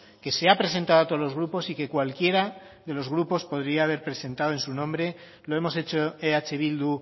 que se ha presentado a todos los grupos y que cualquiera de los grupos podría haber presentado en su nombre lo hemos hecho eh bildu